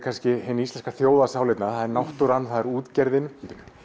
hin íslenska þjóðarsál hérna það er náttúran það er útgerðin